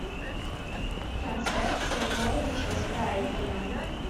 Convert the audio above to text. трансляция норвича с брайтоном